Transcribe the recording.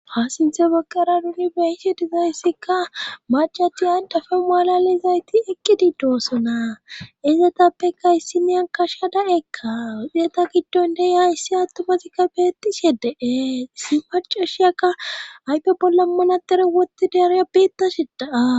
Faasinthe baqqara nuni beise dizayssikka macati andafe maalalizayti eqqi di doossona ezetappeka issine akasha da'ekka wexeeta giddon de hayssi attumazikka beetishie dee si pacashiyakka haype bolla manatere woti dereya biettasedaa.